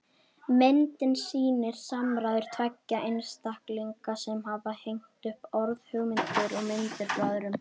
Myndin sýnir samræður tveggja einstaklinga sem hafa hengt upp orð, hugmyndir og myndir frá öðrum.